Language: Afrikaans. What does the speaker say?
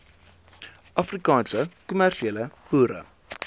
afrikaanse kommersiële boere